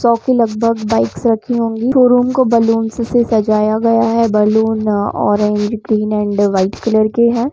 सो की लगभग बाइक्स रखी होगी शोरूम को बैलून्स से सजाया गया है balloons orange green and white colour के है ।